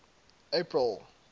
april